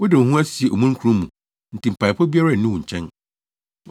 Wode wo ho asie omununkum mu nti mpaebɔ biara nnu wo nkyɛn.